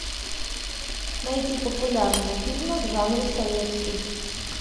найти популярные фильмы в жанре советский